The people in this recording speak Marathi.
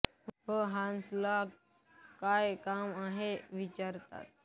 व हान्स ला काय काम आहे असे विचारतात